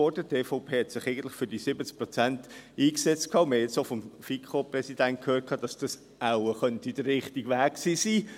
Die EVP hatte sich eigentlich für diese 70 Prozent eingesetzt, und wir haben es nun auch vom FiKoPräsidenten gehört, dass dies wohl auch der richtige Weg hätte sein können.